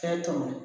Fɛn tɔmɔ